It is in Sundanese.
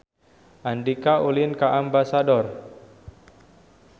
Andika ulin ka Ambasador